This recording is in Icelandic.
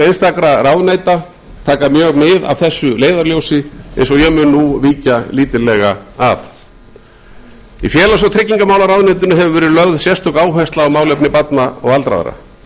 einstakra ráðuneyta taka mjög mið af þessu leiðarljósi eins og ég mun nú víkja lítillega að í félags og tryggingamálaráðuneytinu hefur verið lögð sérstök áhersla á málefni barna og aldraðra